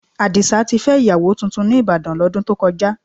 Àdìsá ti fẹ́ ìyàwó tuntun ní Ìbàdàn, lọ́dún tó kọjá.